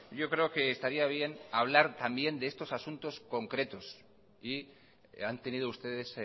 yo creo que estaría bien hablar también de estos asuntos concretos y han tenido ustedes